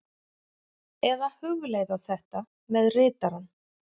Eða hugleiða þetta með ritarann.